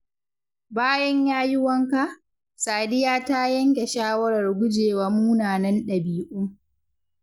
Bayan ya yi wanka, Sadiya ta yanke shawarar gujewa munanan dabi’u.